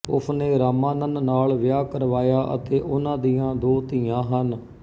ਉਸਨੇ ਰਾਮਾਨਨ ਨਾਲ ਵਿਆਹ ਕਰਵਾਇਆ ਅਤੇ ਉਨ੍ਹਾਂ ਦੀਆਂ ਦੋ ਧੀਆਂ ਹਨ